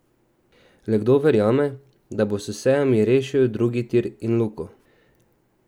Le kdo verjame, da bo s sejami rešil drugi tir in Luko?